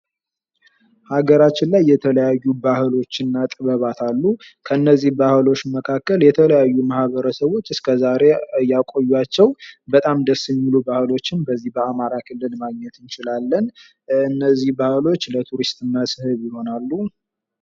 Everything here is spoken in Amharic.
ሀገራችን ላይ የተለያዩ ባህሎች እና ጥበባት አሉ። ከነዚህ ባህሎች መካከል የተለያዩ ማህበረሰቦች እስከዛሬ ያቆያቸው በጣም ደስ የሚሉ ባህሎች በዚህ በአማራ ክልል ማግኘት እንችላለን። እነዚህ ባህሎች ለቱሪስት መስህብ ይሆናሉ።